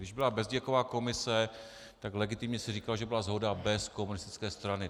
Když byla Bezděkova komise, tak legitimně se říkalo, že byla shoda bez komunistické strany.